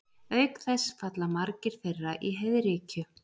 Auk þess falla margir þeirra í heiðríkju.